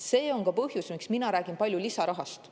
See on ka põhjus, miks mina räägin palju lisarahast.